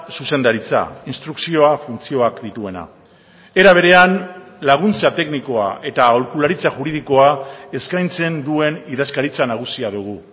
zuzendaritza instrukzioa funtzioak dituena era berean laguntza teknikoa eta aholkularitza juridikoa eskaintzen duen idazkaritza nagusia dugu